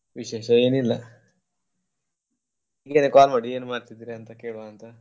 ವಿಶೇಷ ಏನಿಲ್ಲ ಹೀಗೆನೇ call ಮಾಡಿದ್ದು ಏನ್ ಮಾಡ್ತಿದ್ರಿ ಅಂತ ಕೇಳ್ವ ಅಂತ.